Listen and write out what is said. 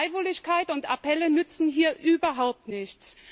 Freiwilligkeit und Appelle nützen hier überhaupt nichts.